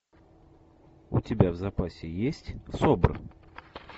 у тебя в запасе есть собр